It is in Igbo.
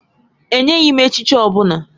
E nyeghị m echichi ọ bụla